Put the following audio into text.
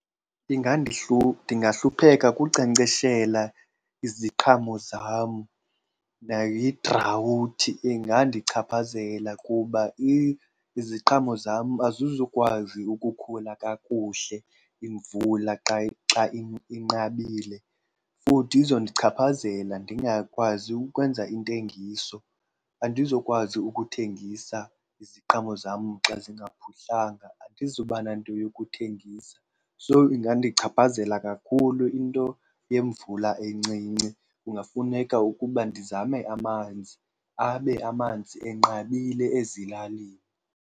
Ndingahlupheka kunkcenkceshela iziqhamo zam nayidrawuthi. Ingandichaphazela kuba iziqhamo zam azizukwazi ukukhula kakuhle imvula xa , xa inqabile. Futhi izondichaphazela ndingakwazi ukwenza intengiso, andizokwazi ukuthengisa iziqhamo zam xa zingaphuhlanga, andizuba nanto yokuthengisa. So ingandichaphazela kakhulu into yemvula encinci. Kungafuneka ukuba ndizame amanzi abe amanzi enqabile ezilalini.